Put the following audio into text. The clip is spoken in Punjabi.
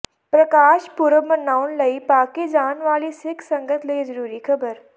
ਪ੍ਰਕਾਸ਼ ਪੁਰਬ ਮਨਾਉਣ ਲਈ ਪਾਕਿ ਜਾਣ ਵਾਲੀ ਸਿੱਖ ਸੰਗਤ ਲਈ ਜਰੂਰੀ ਖਬਰ